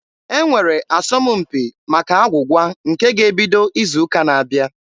E nwere asọmpi maka agwụgwa nke ga-ebido izu ụka na-abịa.